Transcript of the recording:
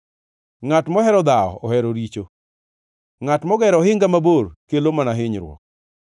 Ngʼat mohero dhawo ohero richo; ngʼat mogero ohinga mabor kelo mana hinyruok.